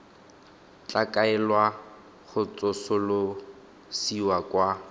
tla kaelwa go tsosolosiwa kwa